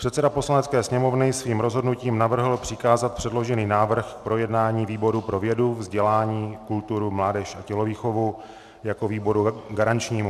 Předseda Poslanecké sněmovny svým rozhodnutím navrhl přikázat předložený návrh k projednání výboru pro vědu, vzdělání, kulturu, mládež a tělovýchovu jako výboru garančnímu.